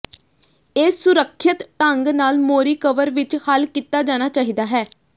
ਇਹ ਸੁਰੱਖਿਅਤ ਢੰਗ ਨਾਲ ਮੋਰੀ ਕਵਰ ਵਿੱਚ ਹੱਲ ਕੀਤਾ ਜਾਣਾ ਚਾਹੀਦਾ ਹੈ